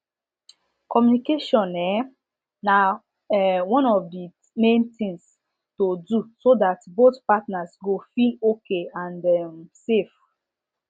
communication um na um one of the main thing to do so that both partners go feel okay and um safe